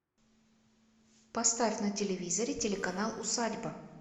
поставь на телевизоре телеканал усадьба